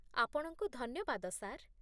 ଆପଣଙ୍କୁ ଧନ୍ୟବାଦ, ସାର୍